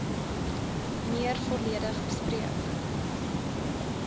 meer volledig bespreek